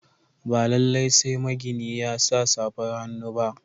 Ba lalai sai magini ya sa safar hannu ba.